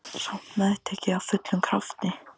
Samt meðtek ég af fullum krafti.